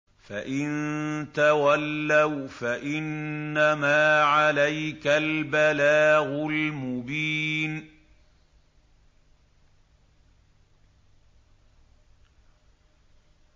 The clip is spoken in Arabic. فَإِن تَوَلَّوْا فَإِنَّمَا عَلَيْكَ الْبَلَاغُ الْمُبِينُ